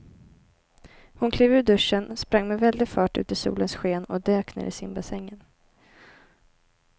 Hon klev ur duschen, sprang med väldig fart ut i solens sken och dök ner i simbassängen.